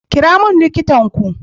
Kira mani likita ku.